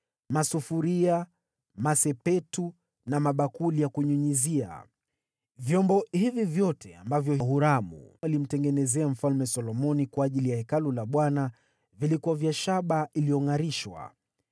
masufuria, masepetu na mabakuli ya kunyunyizia. Vyombo hivi vyote ambavyo Huramu alimtengenezea Mfalme Solomoni kwa ajili ya Hekalu la Bwana vilikuwa vya shaba iliyongʼarishwa.